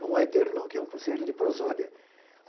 Não hetero, não, que é um conceito de prosódia.